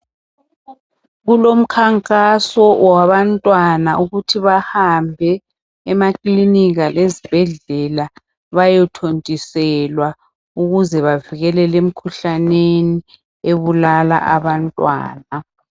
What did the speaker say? Kulomkhankaso wabantwana bahambe emaklinika lezibhedlela bayothontiselwa ukuze bavikeleke emikhuhlaneni ebulala abantwana.